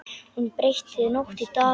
Hún breytti nótt í dag.